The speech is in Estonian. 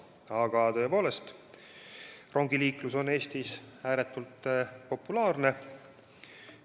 Aga tõepoolest, rongiliiklus on Eestis ääretult populaarne.